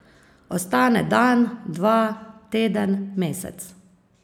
Ostane dan, dva, teden, mesec.